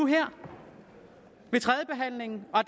her ved tredjebehandlingen og